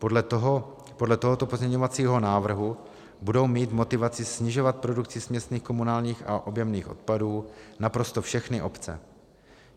Podle tohoto pozměňovacího návrhu budou mít motivaci snižovat produkci směsných komunálních a objemných odpadů naprosto všechny obce.